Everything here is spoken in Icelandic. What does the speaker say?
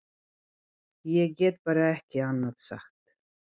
Ég get bara ekki annað sagt.